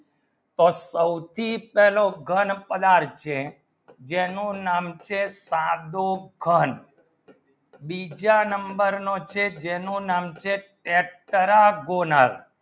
તો સૌથી પેહલો ઘણ પદાર્થ છે ઝીણું નામ છે પાડું ઘણ બીજા number ના છે જેનું નામ છે એકતરાગોનલ